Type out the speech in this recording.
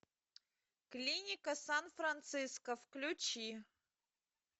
клиника сан франциско включи